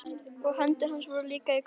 Og hendur hans voru líka í kross.